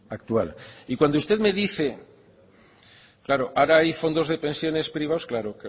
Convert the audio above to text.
actual y cuando usted me dice claro ahora hay fondos de prensiones privados claro